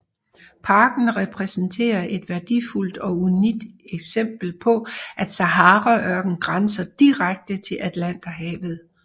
Parken repræsenterer et værdifuldt og unikt eksempel på at Saharaørkenen grænser direkte til Atlanterhavet